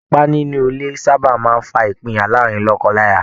Ìwà ipá nínú ilé sáábà máa ń fa ìpinyà láàárin lọ́kọ-láya